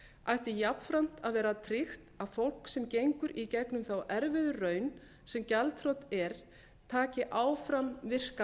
ætti jafnframt að vera tryggt að fólk sem gengur í gegnum þá erfiðu raun sem gjaldþrot er taki áfram virkan